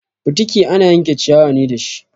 Fitiki ana yanke ciyawa ne dashi.